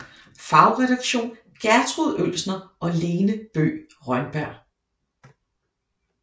Fagredaktion Gertrud Oelsner og Lene Bøgh Rønberg